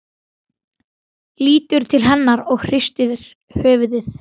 Lítur til hennar og hristir höfuðið.